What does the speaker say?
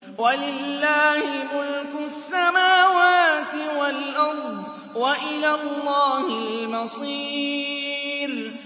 وَلِلَّهِ مُلْكُ السَّمَاوَاتِ وَالْأَرْضِ ۖ وَإِلَى اللَّهِ الْمَصِيرُ